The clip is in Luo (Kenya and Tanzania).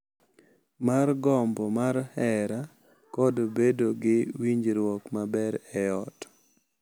mar gombo mar hera kod bedo gi winjruok maber e ot.